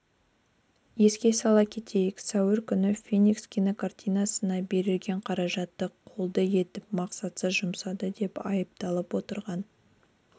еске сала кетейік сәуір күні феникс кинокартинасына бөлінген қаражатты қолды етіп мақсатсыз жұмсады деп айыпталып отырған